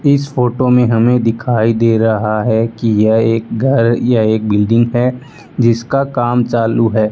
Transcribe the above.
इस फोटो में हमें दिखाई दे रहा है कि यह एक घर या एक बिल्डिंग है जिसका काम चालू है।